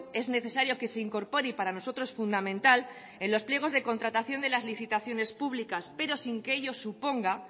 es necesario que se incorpore y para nosotros fundamental en los pliegos de la contratación de las licitaciones públicas pero sin que ello suponga